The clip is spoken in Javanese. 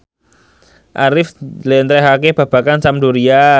Arif njlentrehake babagan Sampdoria